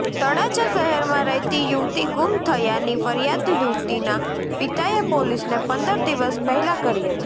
તળાજા શહેરમાં રહેતી યુવતી ગુમ થયાની ફરિયાદ યુવતીના પિતાએ પોલીસને પંદર દિવસ પહેલા કરી હતી